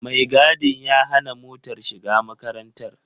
Mai gadin ya hana motar shiga makarantar.